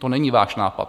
To není váš nápad.